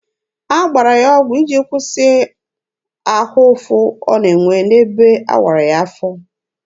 A gbara ya ọgụ iji kwụsị ahụ ụfụ ọ na-enwe n'ebe awara ya afọ.